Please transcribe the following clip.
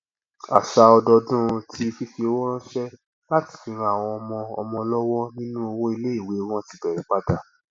àṣà ọdọọdún ti fífi owó ránṣẹ láti fi ran àwọn ọmọ ọmọ lọwọ nínú owó iléìwé wọn ti bẹrẹ padà